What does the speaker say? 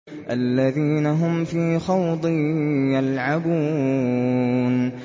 الَّذِينَ هُمْ فِي خَوْضٍ يَلْعَبُونَ